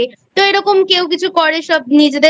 তো এরকম কেউ কিছু করেসব নিজেদের